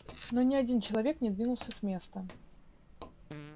но ни один человек не двинулся с места